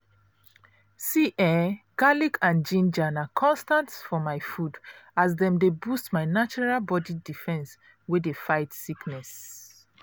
see ehn! garlic and ginger na constant for my food as dem dey boost my natural body defense wey dey fight sickness.